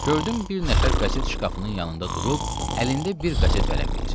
Gördüm bir nəfər qəzet şkafının yanında durub, əlində bir qəzet vərəqləyir.